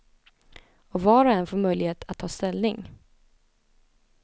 Och var och en får möjlighet att ta ställning.